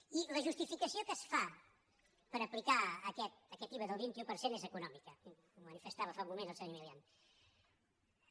i la justificació que es fa per aplicar aquest iva del vint un per cent és econòmica ho manifestava fa un moment el senyor milián